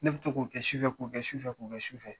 Ne bɛ to k'o kɛ sufɛ k'o kɛ sufɛ k'o kɛ sufɛ